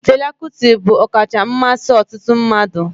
Fela Kuti bụ ọkacha mmasị ọtụtụ mmadụ